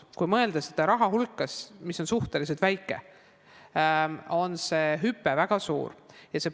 Kui mõelda selle raha hulgale, mis on suhteliselt väike, siis on näha, et see hüpe on väga suur.